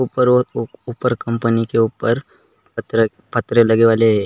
उपर उपर और उपर कंपनी के उपर पत्रे क पत्रे लगे वाले है।